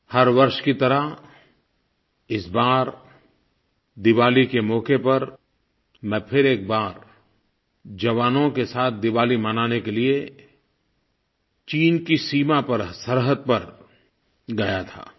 हर वर्ष की तरह इस बार दिवाली के मौके पर मैं फिर एक बार जवानों के साथ दिवाली मनाने के लिये चीन की सीमा पर सरहद पर गया था